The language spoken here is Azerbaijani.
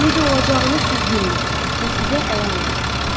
Necə olacağını siz bilmirsiz, bu sizə əyan olacaqdı.